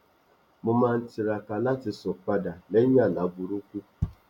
mo máa n tiraka láti sùn padà lẹyìn àlá burúkú